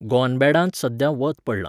गॉनबॅडांत सध्या वत पडलां